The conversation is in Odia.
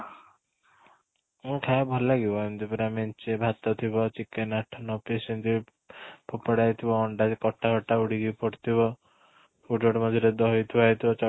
ଖାଇବା ଭଲ ଲାଗିବ ଏମିତି ପୁରା ମେଞ୍ଚେ ଭାତ ଥିବ chicken ଆଠ ନଅ piece ଏମିତି ପୋକଡା ହେଇଥିବ ଅଣ୍ଡା ଯେ କଟା କଟା ଉଡ଼ି କି ପଡିଥିବ ଗୋଟେ ଗୋଟେ ମଝିରେ ଦହି ଥୁଆ ହେଇଥିବ